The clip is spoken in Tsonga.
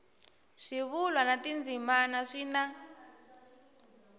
swivulwa na tindzimana swi na